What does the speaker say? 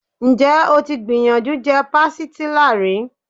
Ǹjẹ́ o ti gbìyànjú je Pastilla rí?